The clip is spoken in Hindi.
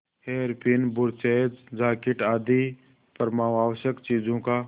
हेयरपिन ब्रुचेज जाकेट आदि परमावश्यक चीजों का